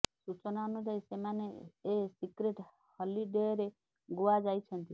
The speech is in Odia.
ସୂଚନା ଅନୁଯାୟୀ ସେମାନେ ଏ ସିକ୍ରେଟ୍ ହଲିଡେରେ ଗୋଆ ଯାଇଛନ୍ତି